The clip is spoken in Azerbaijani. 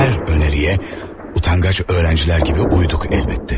Əlbəttə ki, hər təklifə utancaq tələbələr kimi əməl etdik.